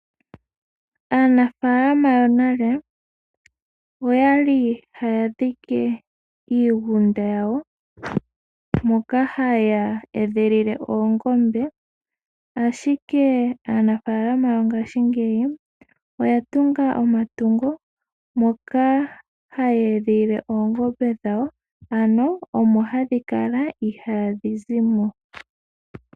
Aanafaalama yonale, oya li haya dhike iigunda yawo moka ha ya edhilile oongombe ashike, aanafaalama yongaashingeyi , oyatunga omatungo , moka haya edhilile oongombe dhawo ano omo hadhi kala, itaadhi zi mo.